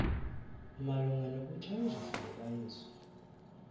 malunga nokuthanjiswa kukayesu